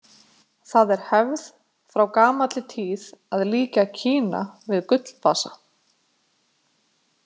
Það er hefð frá gamalli tíð að líkja Kína við Gullvasa.